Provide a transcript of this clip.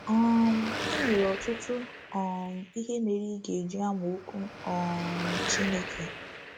um I nwere ọtụtụ um ihe mere ị ga-eji amụ Okwu um Chineke.